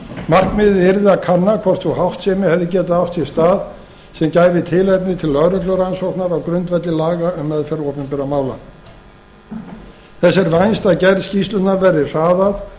markmiðið yrði að kanna hvort sú háttsemi hefði getað átt sér stað sem gæfi tilefni til lögreglurannsóknar á grundvelli laga um meðferð opinberra mála þess er vænst að gerð skýrslunnar verði hraðað